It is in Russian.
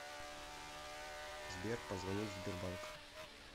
сбер позвонить в сбербанк